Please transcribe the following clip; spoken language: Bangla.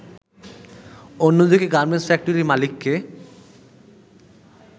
অন্যদিকে গার্মেন্টস ফ্যাক্টরির মালিককে